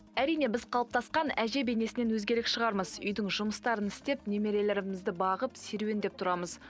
әрине біз қалыптасқан әже бейнесінен өзгерек шығармыз үйдің жұмыстарын істеп немерелерімізді бағып серуендеп тұрамыз